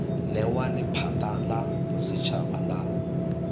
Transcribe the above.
newa lephata la bosetshaba la